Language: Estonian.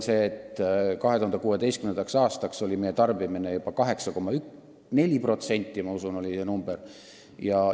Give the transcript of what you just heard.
2016. aastaks oli meie tarbimine juba 8,4 liitrit elaniku kohta – oli vist see näitaja.